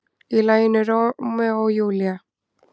Í laginu Rómeó og Júlía.